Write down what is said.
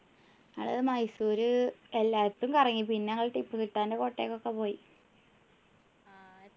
ഞങ്ങള് മൈസൂര് എല്ലായിടത്തും കറങ്ങി പിന്നെ ഞങ്ങള് ടിപ്പുസുൽത്താൻ്റെ കോട്ടയ്ക്കൊക്കെ പോയി